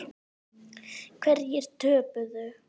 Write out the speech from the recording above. Hverjir töpuðu?